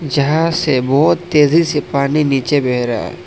जहां से बहुत तेजी से पानी नीचे बह रहा--